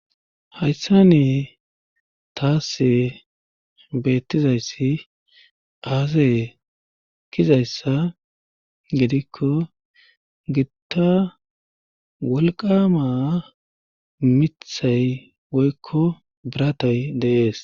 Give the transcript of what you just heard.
hayssa ne taase beettizayssi aase kizayssa gidikko gitta wolqama mithay woykko biratay deees